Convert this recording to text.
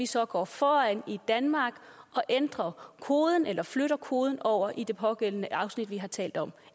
så går foran og ændrer koden eller flytter koden over i det pågældende afsnit vi har talt om